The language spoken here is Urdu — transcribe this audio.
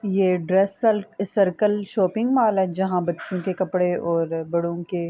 یہ ڈریس سرکل شاپنگ ملل ہے۔ جہاں بچھو کے کپڑے اور بڑو کے--